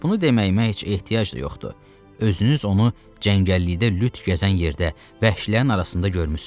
Bunu deməyimə heç ehtiyac da yoxdur, özünüz onu cəngəllikdə lüt gəzən yerdə vəhşilərin arasında görmüsüz.